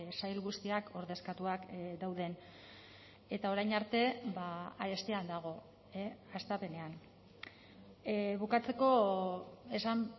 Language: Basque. sail guztiak ordezkatuak dauden eta orain arte arestian dago hastapenean bukatzeko esan